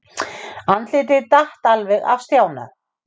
Andlitið datt alveg af Stjána.